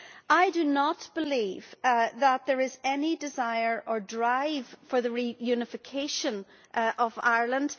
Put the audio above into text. I do not believe that there is any desire or drive for the reunification of Ireland.